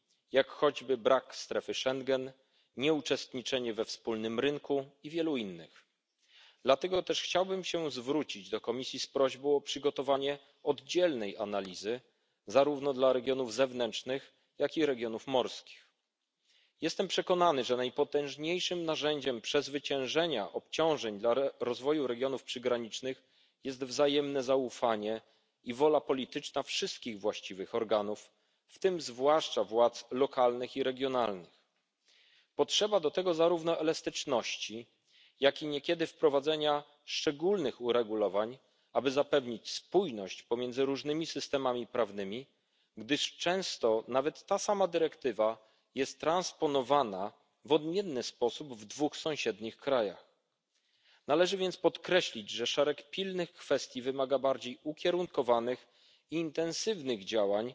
jak choćby brak strefy Schengen, nieuczestniczenie we wspólnym rynku i wielu innych. Dlatego też chciałbym się zwrócić do Komisji z prośbą o przygotowanie oddzielnej analizy zarówno dla regionów zewnętrznych, jak i regionów morskich. Jestem przekonany, że najpotężniejszym narzędziem przezwyciężenia obciążeń dla rozwoju regionów przygranicznych jest wzajemne zaufanie i wola polityczna wszystkich właściwych organów, w tym zwłaszcza władz lokalnych i regionalnych. Potrzeba do tego zarówno elastyczności, jaki i niekiedy wprowadzenia szczególnych uregulowań, aby zapewnić spójność pomiędzy różnymi systemami prawnymi, gdyż często nawet ta sama dyrektywa jest transponowana w odmienny sposób w dwóch sąsiednich krajach. Należy więc podkreślić, że szereg pilnych kwestii wymaga bardziej ukierunkowanych intensywnych